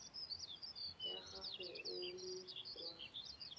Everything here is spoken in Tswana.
ya gago o le kwa